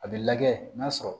A bɛ lajɛ n'a sɔrɔ